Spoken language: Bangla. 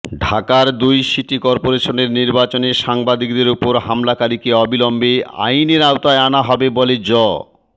ঢাকার দুই সিটি করপোরেশনের নির্বাচনে সাংবাদিকের ওপর হামলাকারীকে অবিলম্বে আইনের আওতায় আনা হবে বলে জ